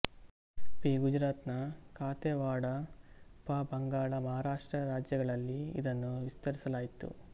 P Gujarat ನ ಕಾಥೆಯವಾಡ ಪ ಬಂಗಾಳಮಹಾರಾಷ್ಟ್ರರಾಜ್ಯಗಳಲ್ಲಿ ಇದನ್ನು ವಿಸ್ತರಿಸಲಾಯಿತು